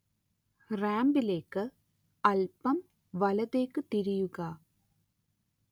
റാമ്പിലേക്ക് അല്പം വലത്തേക്ക് തിരിയുക